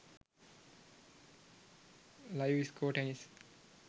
live score tennis